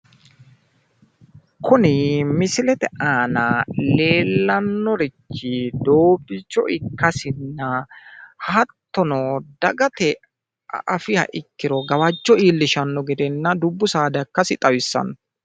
Kuni misilete aana leellannorichi doobbicho ikkasinna, hattono dagate afiha ikkiro gawajjo iillishshanno gedenna dubbu saada ikkasi xawissanno.